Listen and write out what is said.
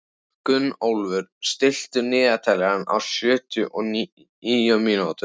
Gunnólfur, stilltu niðurteljara á sjötíu og níu mínútur.